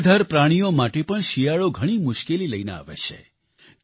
નિરાધાર પ્રાણીઓ માટે પણ શિયાળો ઘણી મુશ્કેલી લઈને આવે છે